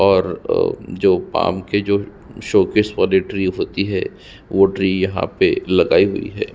और अ जो पाम के जो शोकेस वाली ट्री होती है वो ट्री यहाँ पे लगायी हुई है।